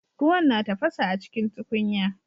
Ruwan na tafasa acikin tukunya